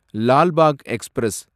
Lal Bagh express